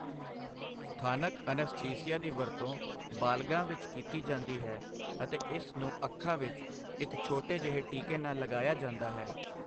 ਸਥਾਨਕ ਅਨੱਸਥੀਸੀਆ ਦੀ ਵਰਤੋਂ ਬਾਲਗਾਂ ਵਿੱਚ ਕੀਤੀ ਜਾਂਦੀ ਹੈ ਅਤੇ ਇਸ ਨੂੰ ਅੱਖਾਂ ਵਿੱਚ ਇੱਕ ਛੋਟੇ ਜਿਹੇ ਟੀਕੇ ਨਾਲ ਲਗਾਇਆ ਜਾਂਦਾ ਹੈ।